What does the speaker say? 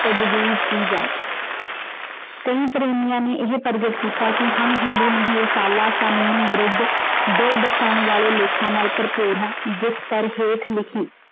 ਤਫ਼ਤੀਸ਼ ਕੀ ਜਾਏ ਕਈ ਪ੍ਰੇਮਿਆਂ ਨੇ ਇਹ ਪ੍ਰਗਟ ਕੀਤਾ ਕੀ ਹਮ ਹਿੰਦੂ ਨਹੀਂ। ਇਹ ਰਸਾਲਾ ਕਾਨੂੰਨੀ ਵਿਰੁੱਧ ਦਿਲ ਦਿਖਾਉਣ ਵਾਲੇ ਲੇਖਾਂ ਨਾਲ ਭਰਪੂਰ ਹੈ। ਜਿਸ ਪਰ ਹੇਠ ਲਿਖੀ।